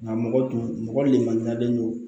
Nka mɔgɔ tun mɔgɔ lenmanuyalen don